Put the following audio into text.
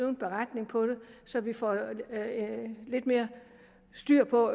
en beretning på det så vi får lidt mere styr på